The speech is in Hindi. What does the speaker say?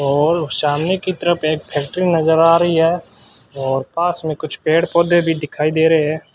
और सामने की तरफ एक फैक्ट्री नज़र आ रही है और पास में कुछ पेड़ पौधे भी दिखाई दे रहे हैं।